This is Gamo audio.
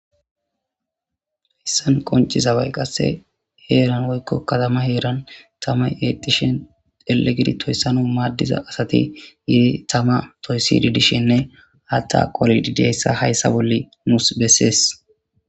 Hissan qoncizabay qasse heeran woykko katama heeran tama yetishen ele gidi toyssano maaddiza asati yidi tama poyssidi dishenne hatta qolididiayssa hayssa bolle muus bessees